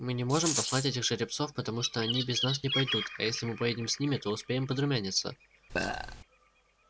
мы не можем послать этих жеребцов потому что они без нас не пойдут а если мы поедем с ними то успеем подрумяниться